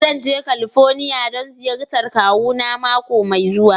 Zan je California don ziyartar kawuna mako mai zuwa.